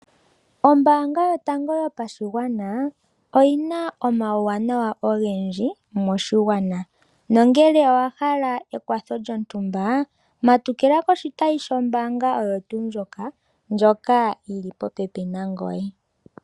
Ombaanga yotango yopashigwana oyi na omauwanawa ogendji moshigwana nongele owa hala ekwatho lyontumba, matukila koshitayi shombaanga oyo tuu ndjoka, ndjoka yili popepi nangoye.